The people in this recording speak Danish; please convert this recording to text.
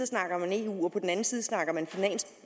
snakker man eu og på den anden side snakker man